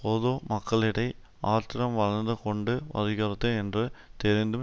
பொது மக்களிடை ஆத்திரம் வளர்ந்து கொண்டு வருகிறது என்று தெரிந்தும்